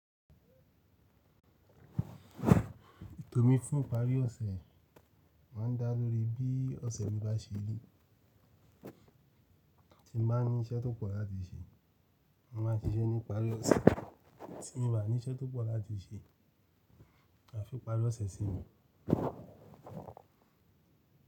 Tomi fún ipari ọ̀sẹ̀ ma ń dá lórí bí ọ̀sẹ̀ mi bá ṣeri. Tí mo bá ní iṣẹ́ tó pọ̀ láti ṣe, mo ma ṣiṣẹ́ ní ìparí ọ̀sẹ̀. Tí mi ba ní iṣẹ́ tó pọ̀ láti ṣe, a fi ipari ọ̀sẹ̀ sí mi.